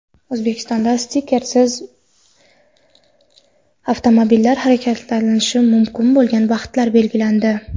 O‘zbekistonda stikersiz avtomobillar harakatlanishi mumkin bo‘lgan vaqtlar belgilandi.